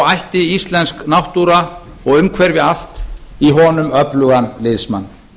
ætti íslensk náttúra og umhverfi allt í honum öflugan liðsmann